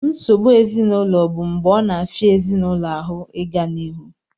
Nsogbu ezinaụlọ bụ mgbe ọ na-afịa ezinaụlọ ahụ ịga n'ihu